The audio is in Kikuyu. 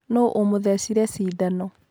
Nũ ũmothecire cindano.